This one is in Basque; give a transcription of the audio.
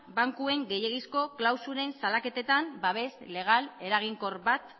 bankuen gehiegizko klausulen salaketetan babes legal eraginkor bat